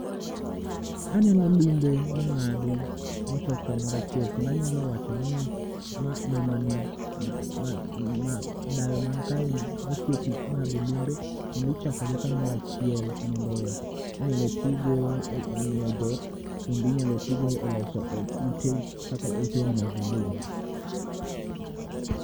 Aneno lumbe mong'adi mochok kamorachiel. kendo anyalo wacho ni mamani, dayo man kae ni otiyo tich ng'ado lumbe kendichokogi kamorachiel. Mondo, inyalo tigo e miyo dhok kendo inyalo tigo e loso ot ute kaka otel mag lum.